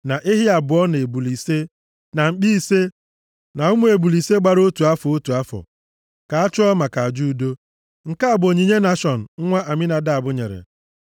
na ehi abụọ, na ebule + 7:17 Ya bụ oke atụrụ ise, na mkpi ise, na ụmụ ebule ise gbara otu afọ, otu afọ, ka a chụọ maka aja udo. Nke a bụ onyinye Nashọn nwa Aminadab nyere.